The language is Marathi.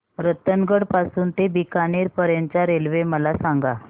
रतनगड पासून ते बीकानेर पर्यंत च्या रेल्वे मला सांगा